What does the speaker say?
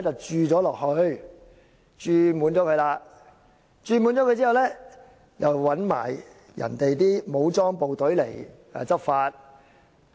注滿這個"洞"後，還找來人家的武裝部隊來執法。